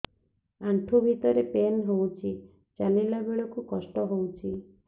ଆଣ୍ଠୁ ଭିତରେ ପେନ୍ ହଉଚି ଚାଲିଲା ବେଳକୁ କଷ୍ଟ ହଉଚି